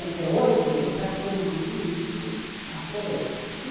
Em sessenta e oito, esse acúmulo político aflorou.